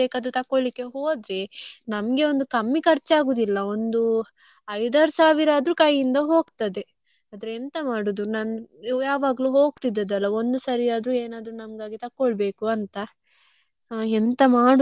ನಮ್ಗೆ ಒಂದು ಕಮ್ಮಿ ಖರ್ಚು ಆಗುದಿಲ್ಲ ಒಂದು ಐದ್ ಆರ್ ಸಾವಿರ ಆದ್ರೂ ಕೈಯಿಂದ ಹೋಗ್ತದೆ. ಆದ್ರೆ ಎಂತ ಮಾಡುದು. ನಂ~ ಯಾವಾಗ್ಲು ಹೋಕ್ತಿದ್ದದ್ದಲ್ಲ, ಒಂದು ಸಾರಿ ಆದ್ರೂ ಏನಾದ್ರು ನಂಗಾಗಿ ತಕ್ಕೊಳ್ ಬೇಕು ಅಂತ ಎಂತ ಮಾಡುದು ಗೊತ್ತಾಗ್ತಿಲ್ಲ.